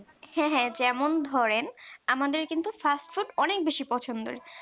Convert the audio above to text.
হ্যাঁ হ্যাঁ যেমন ধরেন আমাদের কিন্তু fast food অনেক বেশি পছন্দের